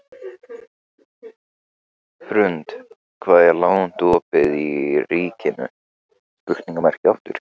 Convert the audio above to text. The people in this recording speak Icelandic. Hrund, hvað er lengi opið í Ríkinu?